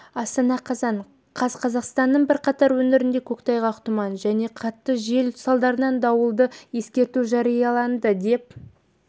астана қазан қаз қазақстанның бірқатар өңірінде көктайғақ тұман және қатты жел салдарынан дауылды ескерту жарияланды деп